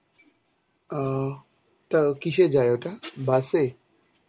ও তো কিসের যায় ওটা? বাসে?